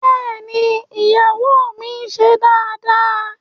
Bẹ́ẹ̀ni, iyawo mi n ṣe daadaa